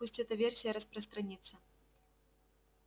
пусть эта версия распространится